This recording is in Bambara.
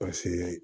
Paseke